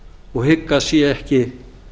og hygg að sé ekki